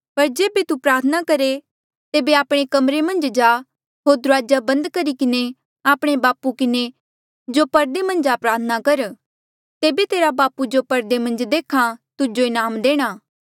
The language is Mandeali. पर जेबे तू प्रार्थना करहे तेबे आपणे कमरे मन्झ जा होर दुराजा बंद करी किन्हें आपणे बापू किन्हें जो परदे मन्झ आ प्रार्थना कर तेबे तेरा बापू जो परदे मन्झ देख्हा तुजो इनाम देणा